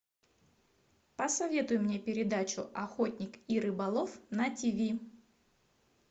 посоветуй мне передачу охотник и рыболов на тиви